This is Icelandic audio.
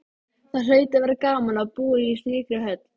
Það hlaut að vera gaman að búa í slíkri höll.